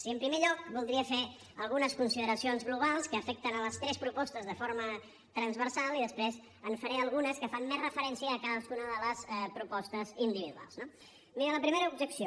i en primer lloc voldria fer algunes consideracions globals que afecten les tres propostes de forma transversal i després en faré algunes que fan més referència a cadascuna de les propostes individuals no mireu la primera objecció